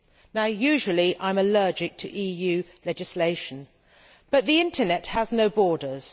Now, usually I am allergic to EU legislation, but the internet has no borders.